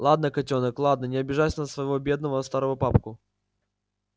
ладно котёнок ладно не обижайся на своего бедного старого папку